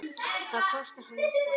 Það kostar hann ekkert.